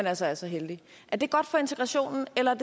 altså er så heldige er det godt for integrationen eller